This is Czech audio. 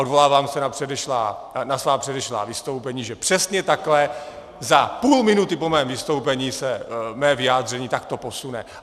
Odvolávám se na svá předešlá vystoupení, že přesně takhle za půl minuty po mém vystoupení se mé vyjádření takhle posune.